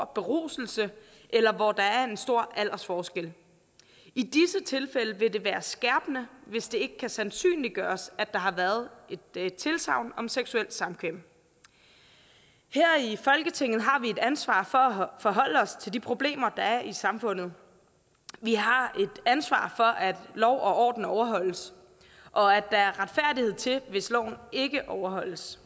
beruselse eller hvor der er en stor aldersforskel i disse tilfælde vil det være skærpende hvis det ikke kan sandsynliggøres at der har været et tilsagn om seksuelt samkvem her i folketinget har vi et ansvar for at forholde os til de problemer der er i samfundet vi har et ansvar for at lov og orden overholdes og at der er retfærdighed til hvis loven ikke overholdes